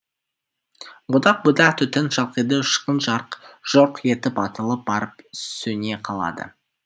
будақ будақ түтін шалқиды ұшқын жарқ жұрқ етіп атылып барып сөне қалады